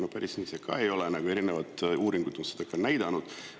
No päris nii see ka ei ole, seda on erinevad uuringud näidanud.